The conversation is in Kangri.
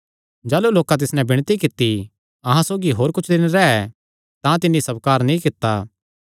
जाह़लू लोकां तिस नैं विणती कित्ती अहां सौगी होर कुच्छ दिन रैह् तां तिन्नी स्वकार नीं कित्ता